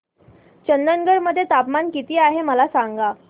चंदगड मध्ये तापमान किती आहे मला सांगा